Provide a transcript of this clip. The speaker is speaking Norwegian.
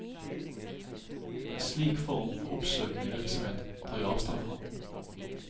En slik form for oppsøkende virksomhet tar jeg avstand fra.